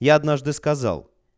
я однажды сказал